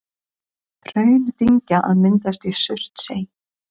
Hraundyngja að myndast í Surtsey.